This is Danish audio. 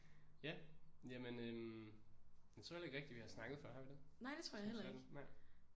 Ja jamen øh jeg tror heller ikke rigtig vi har snakket før har vi det? Som sådan nej